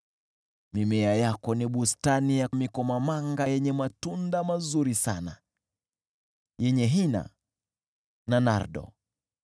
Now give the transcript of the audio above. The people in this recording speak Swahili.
Mimea yako ni bustani ya mikomamanga yenye matunda mazuri sana, yenye hina na nardo,